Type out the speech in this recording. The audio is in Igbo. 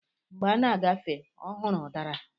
Mgbé ọ na-agafe, ọ hụrụ udara